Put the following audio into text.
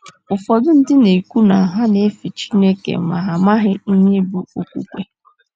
Ụfọdụ ndị na - ekwu na ha na - efe Chineke, ma, ha amaghị ihe bụ́ “ okwukwe. ”